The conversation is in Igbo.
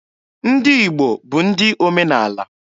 Ndị Igbo bụ ndị omenaala.